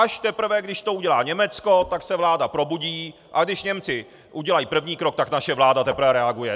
Až teprve když to udělá Německo, tak se vláda probudí, a když Němci udělají první krok, tak naše vláda teprve reaguje.